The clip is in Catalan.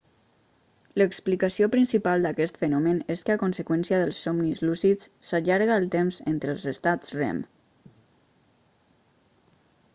l'explicació principal d'aquest fenomen és que a conseqüència dels somnis lúcids s'allarga el temps entre els estats rem